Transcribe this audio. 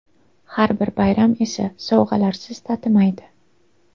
Har bir bayram esa sovg‘alarsiz tatimaydi.